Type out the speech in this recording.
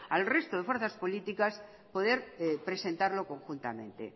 al resto de fuerzas políticas poder presentarlo conjuntamente